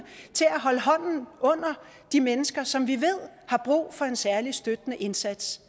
til at holde hånden under de mennesker som vi ved har brug for en særlig støttende indsats